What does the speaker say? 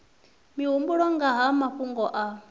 mihumbulo nga ha mafhungo a